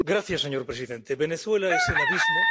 Señor presidente, Venezuela es el abismo.